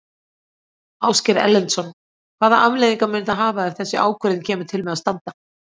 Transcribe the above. Ásgeir Erlendsson: Hvaða afleiðingar mun það hafa ef þessi ákvörðun kemur til með að standa?